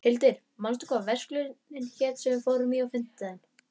Hildir, manstu hvað verslunin hét sem við fórum í á fimmtudaginn?